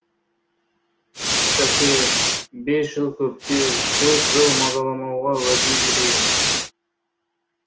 шәке бес жыл көптеу төрт жыл мазаламауға уәде берейін